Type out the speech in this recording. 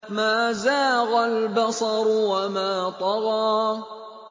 مَا زَاغَ الْبَصَرُ وَمَا طَغَىٰ